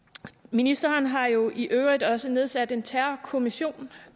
ministeren har jo i øvrigt også nedsat en terrorkommission